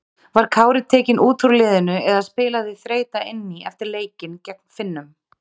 Var Kári tekinn út úr liðinu eða spilaði þreyta inn í eftir leikinn gegn Finnum?